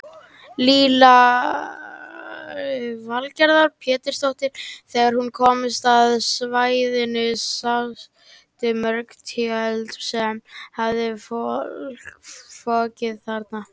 Lillý Valgerður Pétursdóttir: Þegar þú komst á svæðið sástu mörg tjöld sem höfðu fokið hérna?